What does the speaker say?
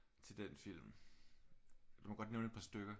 Til den film du må godt nævne et par stykker